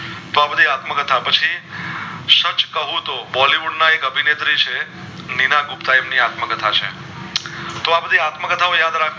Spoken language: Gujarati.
તો આબધી આત્મ કથા પછી સચ કહું તો Bollywood ના એક અભિનેત્રી છે મીના ગુપતા એમની આત્મ કથા છે તો આબધી આત્મ કથા યાદ રાખજો